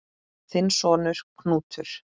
Þinn sonur, Knútur.